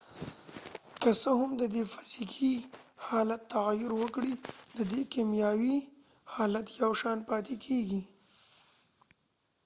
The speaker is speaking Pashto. که څه هم ددې فزیکې حالت تغیر وکړي ،ددې کېمیاوي حالت یو شان پاتی کېږی